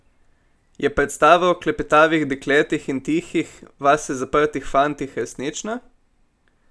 Je predstava o klepetavih dekletih in tihih, vase zaprtih fantih resnična?